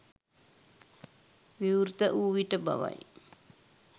විවෘත වූ විට බවයි